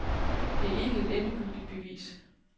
Det er ikke et endegyldigt bevis.